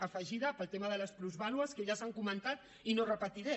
afegida pel tema de les plusvàlues que ja s’ha comentat i no repetiré